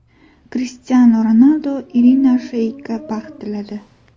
Krishtianu Ronaldu Irina Sheykga baxt tiladi.